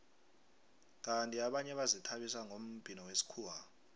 kandi abanye bazithabisa ngombhino wesikhuwa